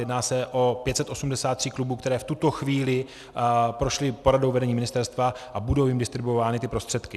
Jedná se o 583 klubů, které v tuto chvíli prošly poradou vedení ministerstva, a budou jim distribuovány ty prostředky.